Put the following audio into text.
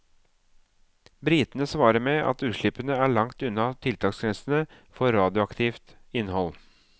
Britene svarer med at utslippene er langt unna tiltaksgrensene for radioaktivt innhold.